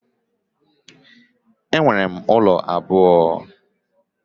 Enwere m ụlọ abụọ